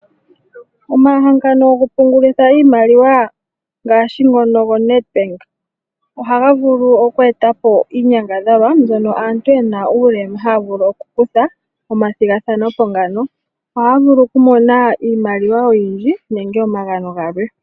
Omahangano go ku pungulitha iimaliwa ngaashi ngono go Nedbank ohaga vulu oku etapo iinyangadhalwa mbyono aantu yena uulema ha ya vulu okukutha omathigathanopo ngano . Ohaya vulu oku mona iimaliwa oyindji nenge omagano galwe.